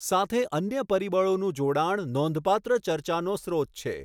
સાથે અન્ય પરિબળોનું જોડાણ નોંધપાત્ર ચર્ચાનો સ્રોત છે.